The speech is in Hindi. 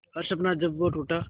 हर सपना जब वो टूटा